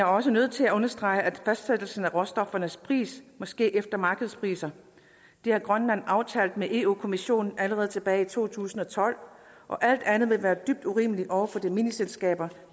også nødt til at understrege at fastsættelsen af råstoffernes pris måske efter markedspriser har grønland aftalt med europa kommissionen allerede tilbage i to tusind og tolv og alt andet ville være dybt urimeligt over for de mineselskaber